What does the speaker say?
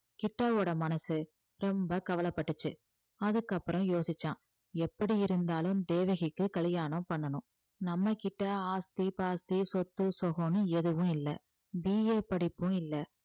கிட்டாவோட மனசு ரொம்ப கவலைப்பட்டுச்சு அதுக்கு அப்புறம் யோசிச்சான் எப்படி இருந்தாலும் தேவகிக்கு கல்யாணம் பண்ணணும் நம்மகிட்ட ஆஸ்தி பாஸ்தி சொத்து சுகம்னு எதுவும் இல்லை BA படிப்பும் இல்லை